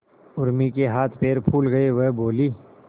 उर्मी के हाथ पैर फूल गए वह बोली